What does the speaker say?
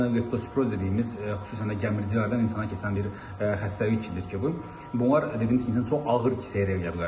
Eynilə leptosiroz dediyimiz, xüsusən də gəmiricilərdən insana keçən bir xəstəlik kimidir ki bu, bunlar insan çox ağır kislər əmələ gətirə bilər.